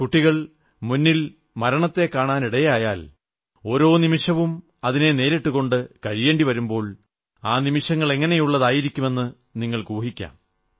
കുട്ടികൾ മുന്നിൽ മരണത്തെ കാണാനിടയായാൽ ഓരോ നിമിഷവും അതിനെ നേരിട്ടുകൊണ്ട് കഴിയേണ്ടി വരുമ്പോൾ ആ നിമിഷങ്ങൾ എങ്ങനെയുള്ളതായിരിക്കുമെന്ന് നിങ്ങൾക്കൂഹിക്കാം